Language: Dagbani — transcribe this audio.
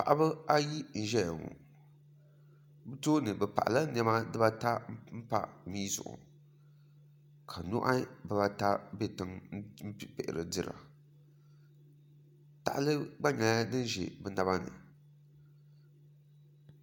paɣiba ayi n-zaya ŋɔ bɛ tooni bɛ paɣila nɛma dibaata m-pa mia zuɣu ka nuhi bibaata be tiŋa m-pihiri dira tahali gba nyɛla din za bɛ naba ni